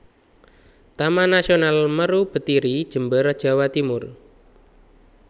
Taman Nasional Meru Betiri Jember Jawa Timur